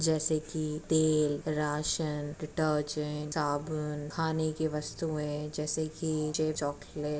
जैसे की तेल राशन डिटर्जेंट साबुन खाने की वस्तुएँ जैसे की जे चॉकलेट।